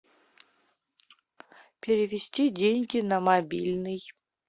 перевести деньги на мобильный